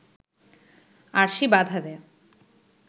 আরশি বাধা দেয়